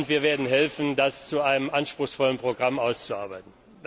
Und wir werden helfen, das zu einem anspruchsvollen Programm auszuarbeiten.